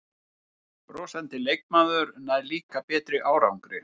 Brosandi leikmaður nær líka betri árangri